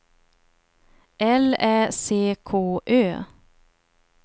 L Ä C K Ö